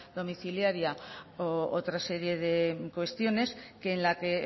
domiciliaria u otra serie de cuestiones que en la que